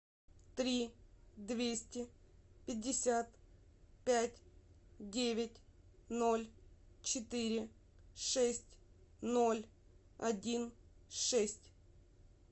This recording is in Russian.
три двести пятьдесят пять девять ноль четыре шесть ноль один шесть